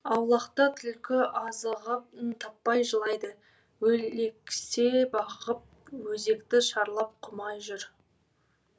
аулақта түлкі азығын таппай жылайды өлексе бағып өзекті шарлап құмай жүр